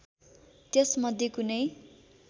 त्यस मध्ये कुनै